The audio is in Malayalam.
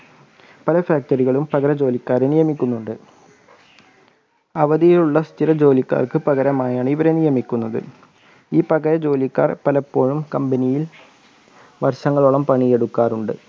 പല factory കളിളും പകര ജോലിക്കാരെ നിയമിക്കുന്നുണ്ട് അവധിയിലുള്ള സ്ഥിരജോലിക്കാർക്ക് പകരമായാണ് ഇവരെ നിയമികുന്നത്. ഈ പകര ജോലിക്കാർ പലപ്പോഴും company യിൽ വർഷങ്ങളോളം പണിയെടുക്കാറുണ്ട്.